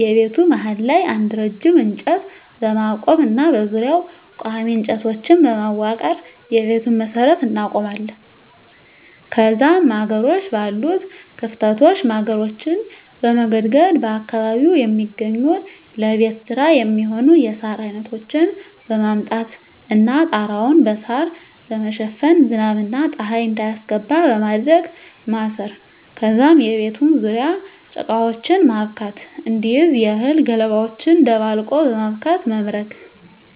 የቤቱ መሀል ላይ አንድ ረጅም እንጨት በማቆም እና በዙሪያው ቆሚ እንጨቶችን በማዋቀር የቤቱን መሠረት እናቆማለን ከዛም ማገሮች ባሉት ክፍተቶች ማገሮችን በመገድገድ በአካባቢው የሚገኙ ለቤት ስራ የሚሆኑ የሳር አይነቶችን በማምጣት እና ጣራያውን በሳራ በመሸፈን ዝናብ እና ፀሀይ እንዳያስገባ በማድረግ ማሰር ከዛም የቤቱን ዙርያ ጭቃወችን ማብካት እንዲይዝ የእህል ገለባወችን ደባልቆ በማብካት መምረግ።